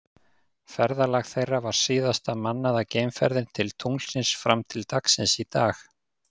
Ferðalag þeirra var síðasta mannaða geimferðin til tunglsins fram til dagsins í dag.